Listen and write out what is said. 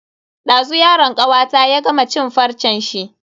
Dazu yaron kawata ya gama cin farcen shi.